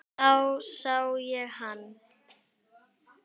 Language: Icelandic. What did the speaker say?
Þá sá ég hann.